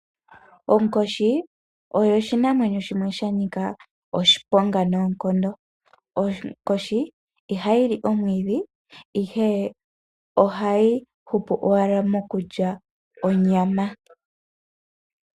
Onkoshi oyo shinamwenyo shimwe sha nika oshiponga nonkondo, onkoshi ihayi li omwidhi ihe ohayi hupu owala mokulya onyama.